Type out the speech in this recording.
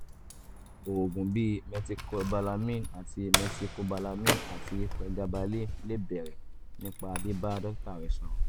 oògùn bíi methylcobalamin àti methylcobalamin àti pregabalin lè bẹ̀rẹ̀ nípa bíbá dókítà rẹ sọ̀rọ̀